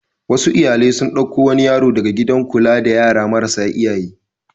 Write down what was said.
Wasu iyalai sun ɗauko wani yaro daga gidan kula da yara marasa iyaye.